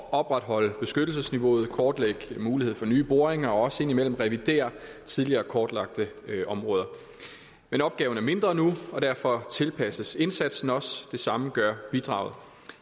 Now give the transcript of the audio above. at opretholde beskyttelsesniveauet og kortlægge muligheder for nye boringer og også for indimellem at revidere tidligere kortlagte områder men opgaven er mindre nu og derfor tilpasses indsatsen også det samme gør bidraget